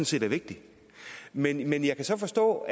set er vigtigt men jeg kan så forstå